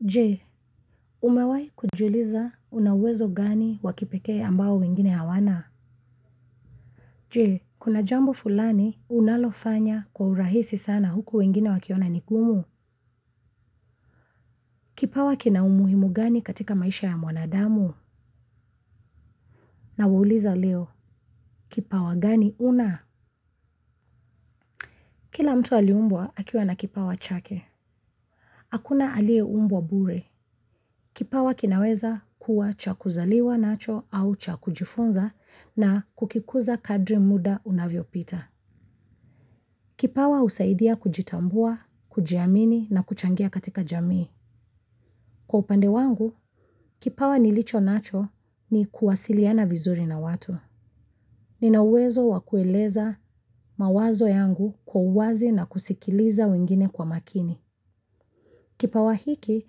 Je, umewahi kujiuliza una uwezo gani wa kipekee ambao wengine hawana? Je, kuna jambo fulani unalofanya kwa urahisi sana huku wengine wakiona nigumu? Kipawa kina umuhimu gani katika maisha ya mwanadamu? Nawauliza leo kipawa gani una? Kila mtu aliumbwa akiwa na kipawa chake hakuna aliyeumbwa bure kipawa kinaweza kuwa cha kuzaliwa nacho au chakujifunza na kukikuza kadri muda unavyo pita. Kipawa usaidia kujitambua, kujiamini na kuchangia katika jamii. Kwa upande wangu, kipawa nilichonacho ni kuwasiliana vizuri na watu. Ninauwezo wakueleza mawazo yangu kwa uwazi na kusikiliza wengine kwa makini. Kipawa hiki,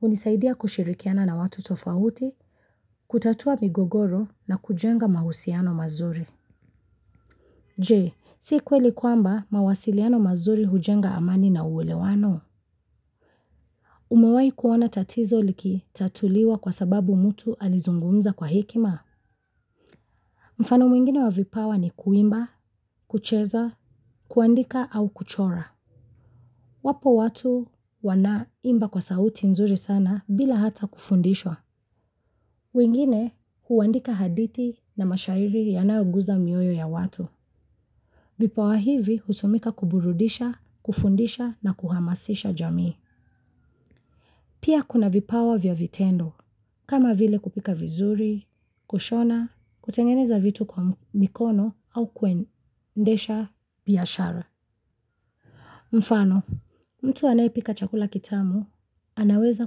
hunisaidia kushirikiana na watu tofauti, kutatua migogoro na kujenga mahusiano mazuri. Je, si kweli kwamba mawasiliano mazuri hujenga amani na uelewano. Nimewahi kuona tatizo likitatuliwa kwa sababu mfano mwingine wa vipawa ni kuimba, kucheza, kuandika au kuchora. Wapo watu wana imba kwa sauti nzuri sana bila hata kufundishwa. Wengine, huandika hadithi na mashairi yanayoguza mioyo ya watu. Vipawa hivi hutumika kuburudisha, kufundisha na kuhamasisha jamii. Pia kuna vipawa vya vitendo, kama vile kupika vizuri, kushona, kutengeneza vitu kwa mikono au kuendesha biashara. Mfano, mtu anayepika chakula kitamu, anaweza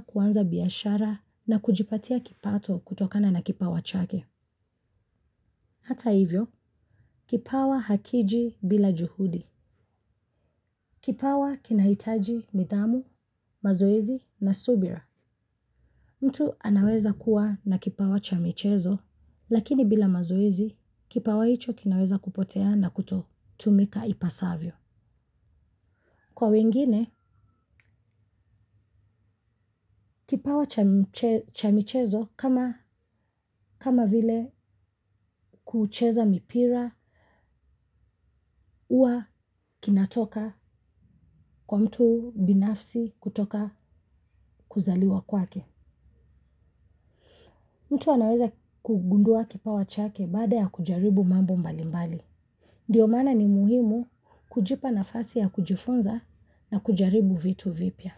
kuanza biashara na kujipatia kipato kutokana na kipawa chake. Hata hivyo, kipawa hakiji bila juhudi. Kipawa kinahitaji midamu, mazoizi na subira. Mtu anaweza kuwa na kipawa cha michezo, lakini bila mazoizi, kipawa hicho kinaweza kupotea na kuto tumika ipasavyo. Kwa wengine, kipawa cha michezo kama vile kucheza mipira huwa kinatoka kwa mtu binafsi kutoka kuzaliwa kwake. Mtu anaweza kugundua kipawa chake baada ya kujaribu mambo mbalimbali. Ndiyo maana ni muhimu kujipa nafasi ya kujifunza na kujaribu vitu vipya.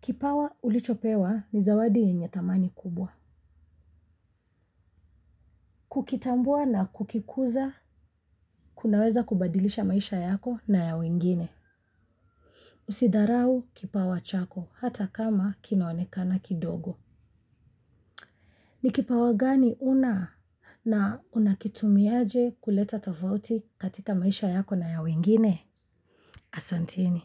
Kipawa ulichopewa ni zawadi yenye thamani kubwa. Kukitambua na kukikuza kunaweza kubadilisha maisha yako na ya wengine usidharau kipawa chako hata kama kinaonekana kidogo ni kipawa gani huna na unakitumiaje kuleta tofauti katika maisha yako na ya wengine? Asanteni.